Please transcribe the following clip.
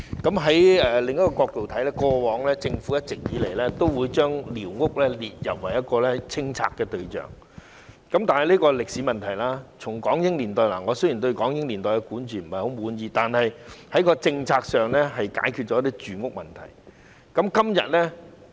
從另一個角度來看，政府一直以來都將寮屋列入清拆對象，但這是歷史問題，雖然我對港英年代的管治不太滿意，但政策上是解決了住屋問題。